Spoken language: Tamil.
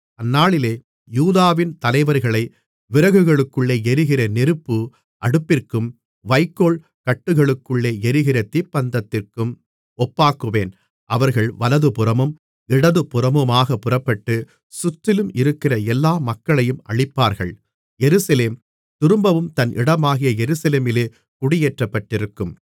அந்நாளிலே யூதாவின் தலைவர்களை விறகுகளுக்குள்ளே எரிகிற நெருப்பு அடுப்பிற்கும் வைக்கோல் கட்டுகளுக்குள்ளே எரிகிற தீப்பந்தத்திற்கும் ஒப்பாக்குவேன் அவர்கள் வலதுபுறமும் இடதுபுறமுமாகப் புறப்பட்டு சுற்றிலும் இருக்கிற எல்லா மக்களையும் அழிப்பார்கள் எருசலேம் திரும்பவும் தன் இடமாகிய எருசலேமிலே குடியேற்றப்பட்டிருக்கும்